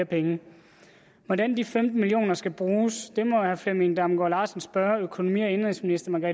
penge hvordan de femten million kroner skal bruges må herre flemming damgaard larsen spørge økonomi og indenrigsministeren